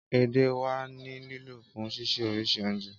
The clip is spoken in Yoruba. Édè wa ni lilo fun sise orisi ounje.